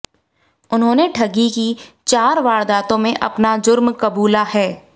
उन्होंने ठगी की चार वारदातों में अपना जुर्म कबूला है